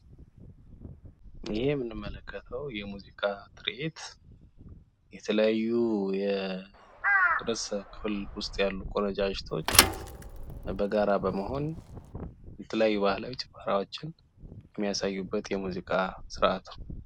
ይሄ የምንመለከተው የሙዚቃ ትርዒት የተለያዩ ርዕሰ ክፍል ውስጥ ያለው ቆንጃጅቶች በጋራ በመሆን የተለያዩ ባህላዊ ጭፈራዎችን የሚያሳዩበት የሙዚቃ ስርዓት ነው።